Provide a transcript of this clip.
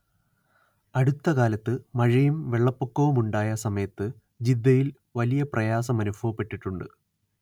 അടുത്ത കാലത്ത് മഴയും വെള്ളപ്പൊക്കവുമുണ്ടായ സമയത്ത് ജിദ്ദയിൽ വലിയ പ്രയാസമനുഭവപ്പെട്ടിട്ടുണ്ട്